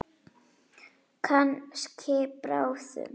Kannski bráðum.